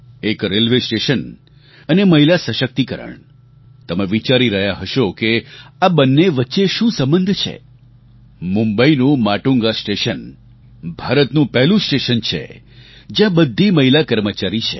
એક railway station અને મહિલા સશક્તિકરણ તમે વિચારી રહ્યા હશો કે આ બંને વચ્ચે શું સંબંધ છે મુંબઈનું માટુંગા સ્ટેશન ભારતનું પહેલું સ્ટેશન છે જ્યાં બધી મહિલા કર્મચારી છે